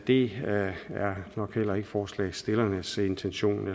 det er jo heller ikke forslagsstillernes intention